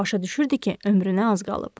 Başa düşürdü ki, ömrünə az qalıb.